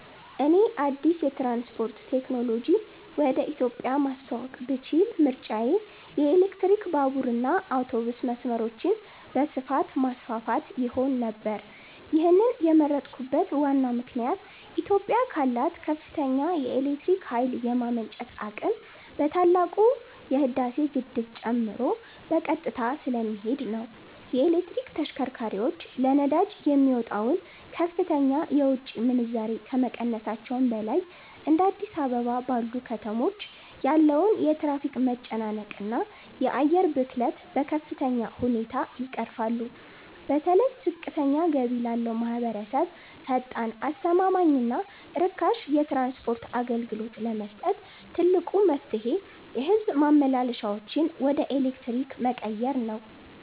እኔ አዲስ የትራንስፖርት ቴክኖሎጂ ወደ ኢትዮጵያ ማስተዋወቅ ብችል ምርጫዬ የኤሌክትሪክ ባቡርና አውቶቡስ መስመሮችን በስፋት ማስፋፋት ይሆን ነበር። ይህንን የመረጥኩበት ዋናው ምክንያት ኢትዮጵያ ካላት ከፍተኛ የኤሌክትሪክ ኃይል የማመንጨት አቅም በተለይ ታላቁ የህዳሴ ግድብን ጨምሮ በቀጥታ ስለሚሄድ ነው። የኤሌክትሪክ ተሽከርካሪዎች ለነዳጅ የሚወጣውን ከፍተኛ የውጭ ምንዛሬ ከመቀነሳቸውም በላይ፤ እንደ አዲስ አበባ ባሉ ከተሞች ያለውን የትራፊክ መጨናነቅና የአየር ብክለት በከፍተኛ ሁኔታ ይቀርፋሉ። በተለይ ዝቅተኛ ገቢ ላለው ማኅበረሰብ ፈጣን፣ አስተማማኝና ርካሽ የትራንስፖርት አገልግሎት ለመስጠት ትልቁ መፍትሔ የሕዝብ ማመላለሻዎችን ወደ ኤሌክትሪክ መቀየር ነው።